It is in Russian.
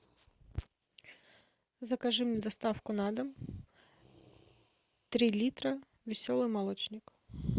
закажи мне доставку на дом три литра веселый молочник